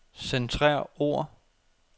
Centrer ord.